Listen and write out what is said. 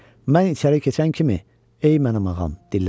Mən içəri keçən kimi: "Ey mənim ağam", dilləndi.